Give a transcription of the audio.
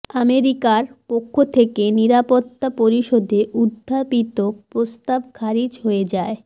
আমেরিকার পক্ষ থেকে নিরাপত্তা পরিষদে উত্থাপিত প্রস্তাব খারিজ হয়ে যায়